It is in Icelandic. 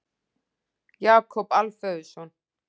Jakob Alfeusson.